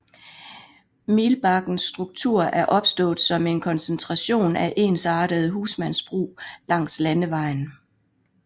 Milbakkens struktur er opstået som en koncentration af ensartede husmandsbrug langs landevejen